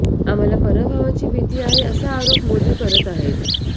आम्हाला पराभवाची भीती आहे असा आरोप मोदी करत आहेत